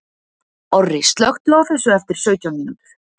Orri, slökktu á þessu eftir sautján mínútur.